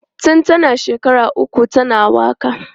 Tun tana shekara uku tana waka.